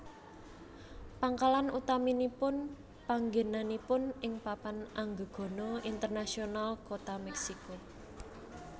Pangkalan utaminipun panggènanipun ing Papan Anggegana Internasional Kota Meksiko